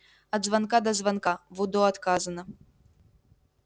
от звонка до звонка в удо отказано